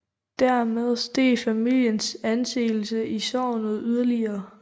Dermed steg familiens anseelse i sognet yderligere